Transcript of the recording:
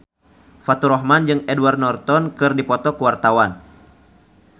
Faturrahman jeung Edward Norton keur dipoto ku wartawan